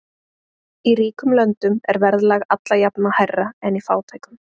Í ríkum löndum er verðlag alla jafna hærra en í fátækum.